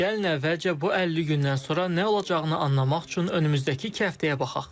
Gəlin əvvəlcə bu 50 gündən sonra nə olacağını anlamaq üçün önümüzdəki iki həftəyə baxaq.